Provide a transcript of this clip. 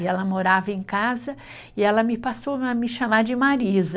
E ela morava em casa e ela me passou a me chamar de Marisa.